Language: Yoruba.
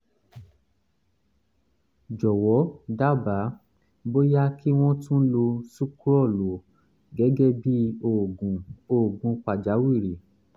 jọ̀wọ́ dábàá bóyá kí wọ́n tún lo sucrol o gẹ́gẹ́ bíi oògùn oògùn pàjáwìrì